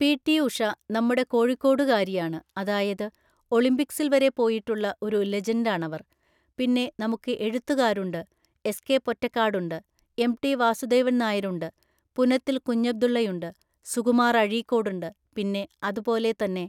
P T Usha നമ്മുടെ കോഴിക്കോടുകാരിയാണ് അതായത് ഒളിമ്പിക്സിൽ വരെ പോയിട്ടുള്ള ഒരു ലെജൻ്റാണവര്‍. പിന്നെ നമുക്ക് എഴുത്തുകാരുണ്ട് എസ് കെ പൊറ്റക്കാടുണ്ട് എംടി വാസുദേവൻ നായരുണ്ട് പുനത്തിൽ കുഞ്ഞബ്ദുള്ളയുണ്ട് സുകുമാർ അഴീക്കോടുണ്ട് പിന്നെ അതു പോലെത്തന്നെ